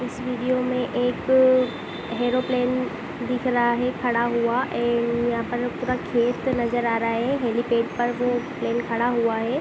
इस वीडियो में एक ऐरोप्लेन दिख रहा है खड़ा हुआ ए यहाँ पर पूरा खेत नज़र आ रहा है हेलीपैड पर वो प्लेन खड़ा हुआ है।